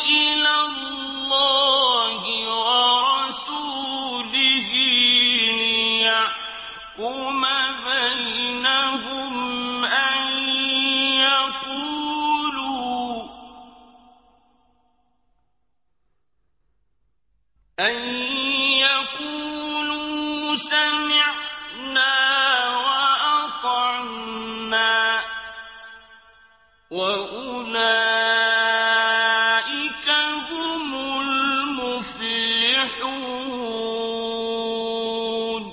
إِلَى اللَّهِ وَرَسُولِهِ لِيَحْكُمَ بَيْنَهُمْ أَن يَقُولُوا سَمِعْنَا وَأَطَعْنَا ۚ وَأُولَٰئِكَ هُمُ الْمُفْلِحُونَ